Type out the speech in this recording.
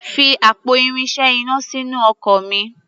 Fi àpò irinṣẹ́ iná sínú ọkọ̀ mi.